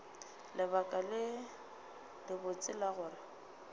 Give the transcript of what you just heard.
lebaka le lebotse la gore